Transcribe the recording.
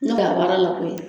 N'o la baara la koyi